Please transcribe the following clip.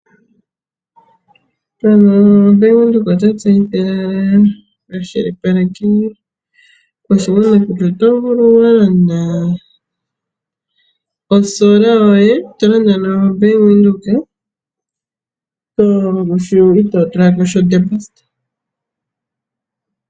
Bank widhoek ota tseyithile ano ta kwashilipaleke oshigwana kutya otovulu walanda olusheno lwoketango, tolanda nombaanga ya Venduka itotulako iishoshela yasha.